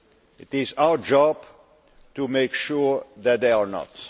It is our job to make sure that they are not.